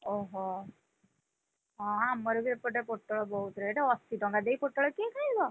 ଓହୋ, ହଁ ଆମର ବି ଏପଟେ ପୋଟଳ ବହୁତ rate ଅଶି ଟଙ୍କା ଦେଇ ପୋଟଳ କିଏ ଖାଇବ?